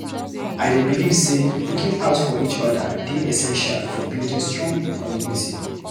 I dey believe say looking out for each other dey essential for building strong community.